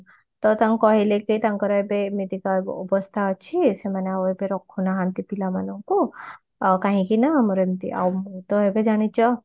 ତ ତାଙ୍କୁ କହିଲେ କି ତାଙ୍କର ଏବେ ଏମିତିକା ଅବସ୍ତା ଅଛି ସେମାନେ ଆଉ ଏବେ ରଖୁନାହାନ୍ତି ପିଲାମାନଙ୍କୁ ଆଉ କାହିକି ନା ଆମର ଏମିତେ ଆଉ ମୁଁ ତ ଏବେ ଜାଣିଛ